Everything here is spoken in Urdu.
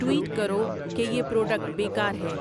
ٹویٹ کرو کہ یہ پروڈکٹ بیکار ہے